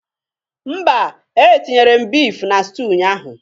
Mba etinyere m beef na stew ụnyaahụ